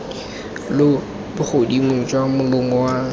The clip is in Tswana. lo bogodimo jwa molomo wa